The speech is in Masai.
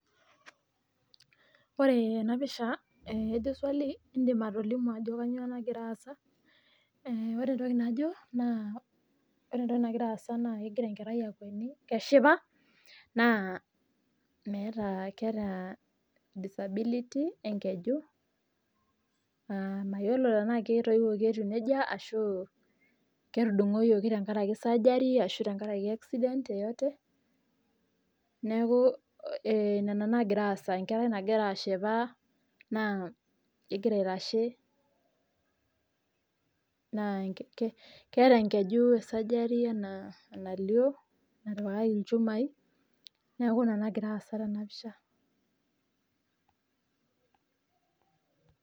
Ore enapisha ore entoki najo egira enkerai akweni naa keeta disability mayiolo tenaa ketoiwuoki etiu neija ashu surgery enkerai nagira aitashe etishipe naa keeta enkaji natipikaki ilchumai neeku ina nagira aasa tena pisha